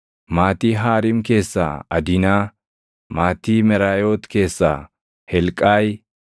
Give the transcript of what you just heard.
maatii Haariim keessaa Adinaa; maatii Meraayoot keessaa Helqaayi;